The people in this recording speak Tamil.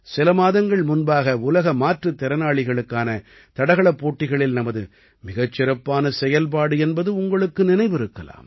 சில மாதங்கள் முன்பாக உலக மாற்றுத் திறனாளிகளுக்கான தடகளப் போட்டிகளில் நமது மிகச் சிறப்பான செயல்பாடு என்பது உங்களுக்கு நினைவிருக்கலாம்